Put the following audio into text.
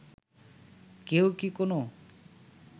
কেউ কি কোনো